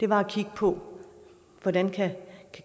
var at kigge på hvordan